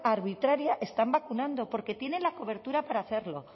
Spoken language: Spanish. arbitraria están vacunando porque tienen la cobertura para hacerlo